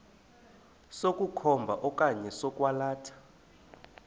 sokukhomba okanye sokwalatha